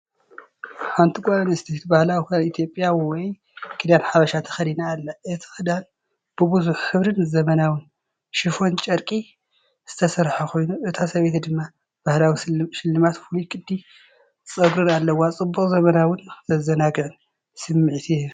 ሓንቲ ጓል ኣንስተይቲ ባህላዊ ክዳን ኢትዮጵያ ወይ "ክዳን ሓበሻ" ተኸዲና ኣላ። እቲ ክዳን ብብዙሕ ሕብሪን ዘመናውን "ሺፎን" ጨርቂ ዝተሰርሐ ኮይኑ፡ እታ ሰበይቲ ድማ ባህላዊ ስልማትን ፍሉይ ቅዲ ጸጉርን ኣለዋ። ጽቡቕ፡ ዘመናውን ዘዘናግዕን ስምዒት ይህብ።